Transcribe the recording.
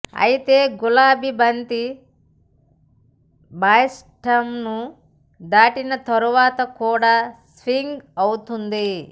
అయితే గులాబి బంతి బ్యాట్స్మన్ను దాటిన తర్వాత కూడా స్వింగ్ అవుతోంది